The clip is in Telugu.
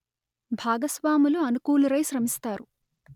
భాగస్వాములు అనుకూలురై శ్రమిస్తారు